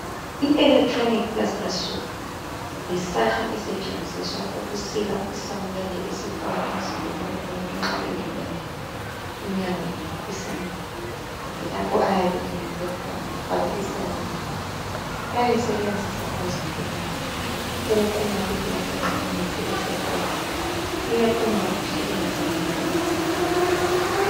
I electronic plaster saw, yisaha esetshenziswa ukusika isamende esifakwa emzimbeni womuntu, nxa elimele, inyawo kumbe isandla. Kumbe lapho ayabe elimele khona. Bafaka isamende. Bayayisebenzisa abezempilakahle ukuquma isamende nxa umuntu esepholile. Iyaquma kuhle. Ingazange ilimaze umuntu.